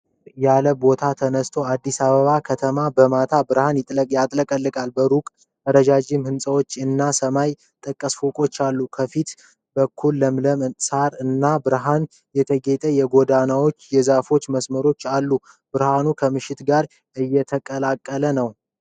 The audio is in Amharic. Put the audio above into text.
ከፍ ያለ ቦታ ተነስቶ አዲስ አበባ ከተማን በማታ ብርሃን ያጥለቀልቃል። በሩቅ ረዣዥም ሕንፃዎች እና ሰማይ ጠቀስ ፎቆች አሉ። ከፊት በኩል ለምለም ሳር እና በብርሃን የተጌጡ የጎዳናዎችና የዛፎች መስመሮች አሉ። ብርሃኑ ከምሽት ጋር እየተቀላቀለ ነው።